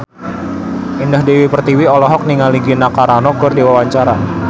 Indah Dewi Pertiwi olohok ningali Gina Carano keur diwawancara